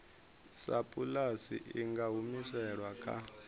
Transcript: sapulasi i nga humiselwa kha